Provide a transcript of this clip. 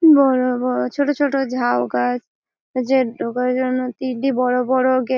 বড় বড় ছোট ছোট ঝাউ গাছ। যে ঢোকার জন্য তিনটি বড় বড় গেট --